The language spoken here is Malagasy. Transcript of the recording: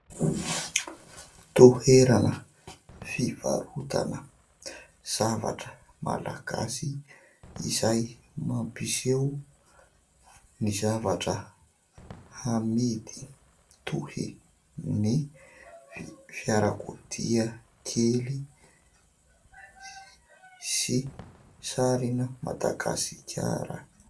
Toerana fivarotana zavatra malagasy izay mampiseho ny zavatra amidy toy ny fiarakodia kely sy sarina Madagasikara.